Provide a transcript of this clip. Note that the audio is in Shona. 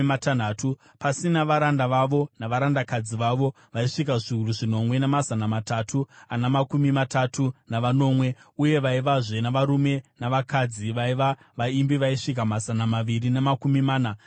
pasina varanda vavo navarandakadzi vavo vaisvika zviuru zvinomwe namazana matatu ana makumi matatu navanomwe; uye vaivazve navarume navakadzi vaiva vaimbi vaisvika mazana maviri namakumi mana navashanu.